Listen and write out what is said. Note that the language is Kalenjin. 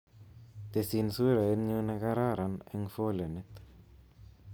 Tesin suraitnyu nekararan eng folenit